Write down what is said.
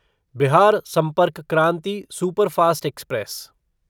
Bihar Sampark Kranti superfast express